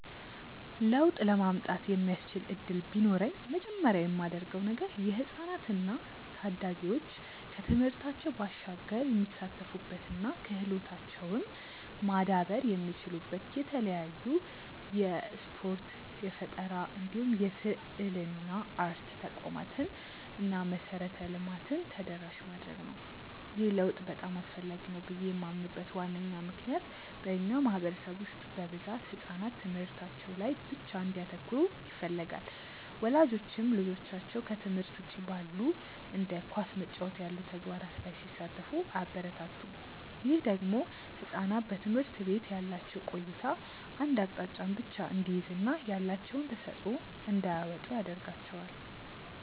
ለውጥ ለማምጣት የሚያስችል እድል ቢኖረኝ መጀመሪያ ማደርገው ነገር የህፃናት እና ታዳጊዎች ከትምህርታቸው ባሻገር የሚሳተፉበት እና ክህሎታቸውም ማዳበር የሚችሉበት የተለያዩ የስፖርት፣ የፈጠራ እንዲሁም የስዕልና አርት ተቋማትን እና መሰረተ ልማትን ተደራሽ ማድረግ ነው። ይህ ለውጥ በጣም አስፈላጊ ነው ብዬ ማምንበት ዋነኛ ምክንያት በእኛ ማህበረሰብ ውስጥ በብዛት ህጻናት ትምህርታቸው ላይ ብቻ እንዲያተኩሩ ይፈለጋል። ወላጆችም ልጆቻቸው ከትምህርት ውጪ ባሉ እንደ ኳስ መጫወት ያሉ ተግባራት ላይ ሲሳተፉ አያበረታቱም። ይህ ደግሞ ህጻናት በትምህርት ቤት ያላቸው ቆይታ አንድ አቅጣጫን ብቻ እንዲይዝ እና ያላቸውን ተሰጥዖ እንዳያወጡ ያረጋቸዋል።